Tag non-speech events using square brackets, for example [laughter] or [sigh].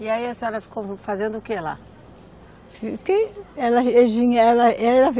E aí a senhora ficou fazendo o que lá? Que, ela [unintelligible] ela [unintelligible]